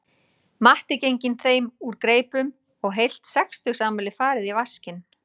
Matti genginn þeim úr greipum og heilt sextugsafmæli farið í vaskinn